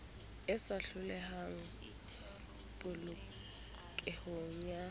e sa otlolohang polokehong ya